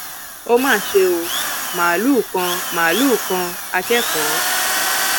ó mà ṣe ò máàlùú kan máàlùú kan akẹkọọ